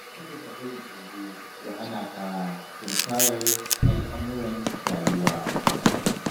Kada ka bari tsoro ya hana ka tunkarar al'amuran rayuwa.